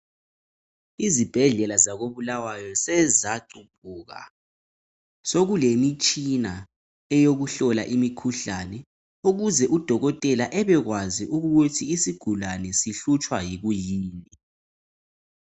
Izibhedlela zako bulawayo sezaguquka sokule mitshina eyokuhlola imikhuhlane ukuze udokotela ebekwazi ukuthi isigulane sihlutshwa yikuyini.